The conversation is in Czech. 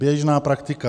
Běžná praktika.